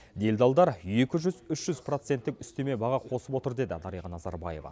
делдалдар екі жүз үш жүз проценттік үстеме баға қосып отыр деді дариға назарбаева